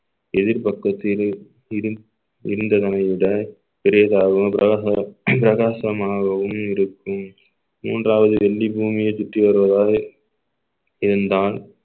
எதிர் பக்கத்திலே இருந்~ இருந்ததனை விட பெரிதாகும் பிரகாச~ பிரகாசமாகவும் இருக்கும் மூன்றாவது வெள்ளி பூமியை சுற்றி வருவதால் இருந்தால்